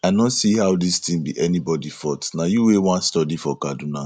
i no see how dis thing be anybody fault na you wey wan study for kaduna